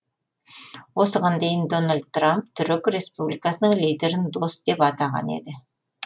осыған дейін дональд трамп түрік республикасының лидерін дос деп атаған еді